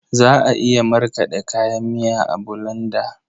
Za a iya markaɗe kayan miya a bulanda.